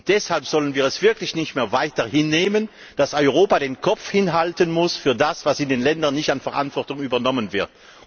Deshalb dürfen wir es wirklich nicht mehr weiter hinnehmen, dass Europa den Kopf hinhalten muss für das, was in den Ländern an Verantwortung nicht übernommen wird.